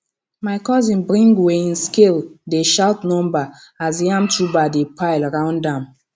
my cousin bring weighing scale dey shout number as yam tuber dey pile round am